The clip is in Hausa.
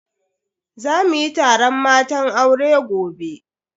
Za muyi taron matan aure gobe.